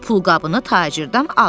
Pulqabını tacirdən al.